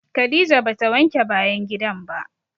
Khadijah ba ta wanke bayan gidan ba.